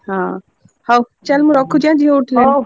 ହଁ ହଉ ଚାଲ୍ ମୁଁ ରଖୁଛି ଆଁ ଝିଅ ଉଠିଲାଣି ।